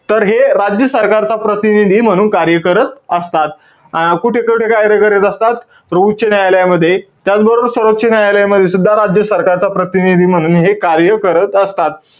तर हे राज्य सरकारचा प्रतिनिधी म्हणून कार्य करत असतात. अं कुठे-कुठे कार्य करत असतात? तर उच्च न्यायालयामध्ये, त्याचबरोबर सर्वोच्च न्यायालयामध्ये सुद्धा राज्य सरकारचा प्रतिनिधी म्हणून हे कार्य करत असतात.